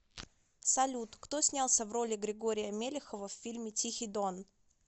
салют кто снялся в роли григория мелехова в фильме тихий дон